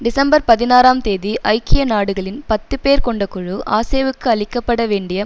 December பதினாறாம் தேதி ஐக்கிய நாடுகளின் பத்து பேர் கொண்ட குழு அசேவுக்கு அளிக்க பட வேண்டிய